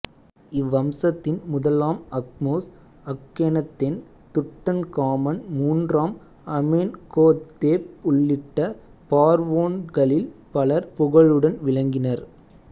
இவ்வம்சத்தின் முதலாம் Ahmose Akhenaten Tutankhamun மூன்றாம் Amenhotep உள்ளிட்ட பார்வோன்களில் பலர் புகழுடன் விளங்கினர்